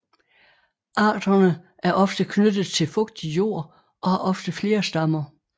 Arterne er ofte knyttet til fugtig jord og har ofte flere stammer